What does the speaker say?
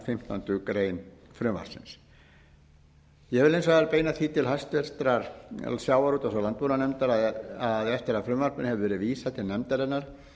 fimmtándu greinar frumvarpsins ég vil hins vegar beina því til hæstvirts sjávarútvegs og landbúnaðarnefndar að eftir að frumvarpinu hefur gefið vísað til nefndarinnar